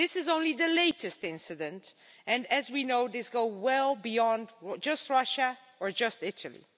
That is only the latest incident and, as we know, this goes well beyond just Russia or just Italy.